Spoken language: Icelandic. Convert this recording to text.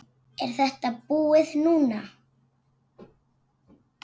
Er þetta búið núna?